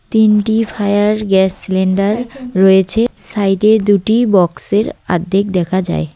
তিনটি fire gas cylinder রয়েছে সাইডে দুটি বক্সের আদ্ধেক দেখা যায়।